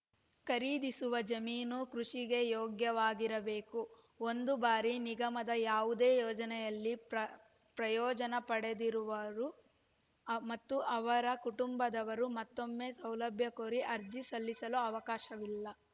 ಖರೀದಿಸುವ ಜಮೀನು ಕೃಷಿಗೆ ಯೋಗ್ಯವಾಗಿರಬೇಕು ಒಂದು ಬಾರಿ ನಿಗಮದ ಯಾವುದೇ ಯೋಜನೆಯಲ್ಲಿ ಪ್ರ ಪ್ರಯೋಜನ ಪಡೆದವರು ಮತ್ತು ಅವರ ಕುಟುಂಬದವರು ಮತ್ತೊಮ್ಮೆ ಸೌಲಭ್ಯ ಕೋರಿ ಅರ್ಜಿ ಸಲ್ಲಿಸಲು ಅವಕಾಶವಿಲ್ಲ